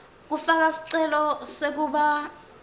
kufaka sicelo sekuba